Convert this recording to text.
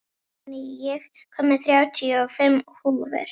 Benóný, ég kom með þrjátíu og fimm húfur!